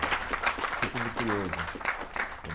Sempre fui muito curioso.